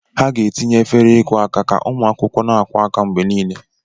Ha ga-etinye efere ịkwụ aka ka ụmụ akwụkwọ na-akwụ aka mgbe niile.